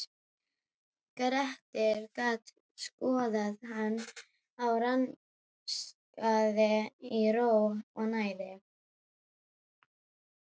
Grettir gat skoðað hann og rannsakað í ró og næði.